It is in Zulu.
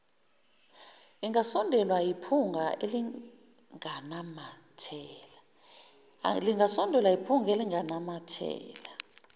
ingasondelwa yiphunga elinganamathela